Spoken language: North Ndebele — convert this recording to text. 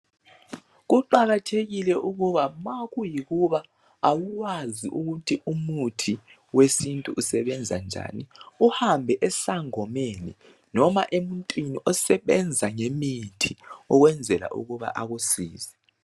Kuqakathekile ukuba nxa kuyikuba awukwazi ukuthi umuthi wesintu usebenza njani, uhambe esangomeni loba emuntwini osebenza ngemithi ukwenzela ukuba akusize.